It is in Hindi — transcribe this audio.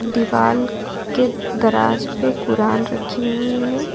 दीवाल के दराज मे कुरान रखी हुई है।